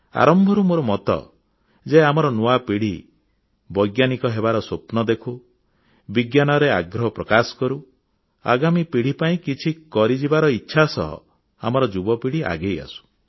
ଆରମ୍ଭରୁ ମୋର ମତ ଯେ ଆମର ନୂଆ ପିଢ଼ି ବୈଜ୍ଞାନିକ ହେବାର ସ୍ୱପ୍ନ ଦେଖୁ ବିଜ୍ଞାନରେ ଆଗ୍ରହ ପ୍ରକାଶ କରୁ ଆଗାମୀ ପିଢ଼ି ପାଇଁ କିଛି କରିଯିବାର ଇଚ୍ଛା ସହ ଆମର ଯୁବ ପିଢ଼ି ଆଗେଇ ଆସୁ